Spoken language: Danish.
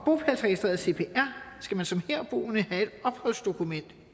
at i cpr skal man som herboende have et opholdsdokument